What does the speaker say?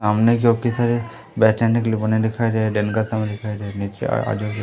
सामने क्योंकि सारे बैठने के लिए बने दिखाई देने का समय दिखाइ दे --